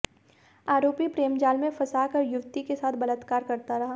आरोपी प्रेमजाल में फंसाकर युवती के साथ बलात्कार करता रहा